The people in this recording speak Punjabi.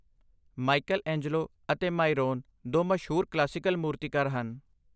ਮਾਈਕਲਐਂਜਲੋ ਅਤੇ ਮਾਈਰੋਨ ਦੋ ਮਸ਼ਹੂਰ ਕਲਾਸੀਕਲ ਮੂਰਤੀਕਾਰ ਹਨ।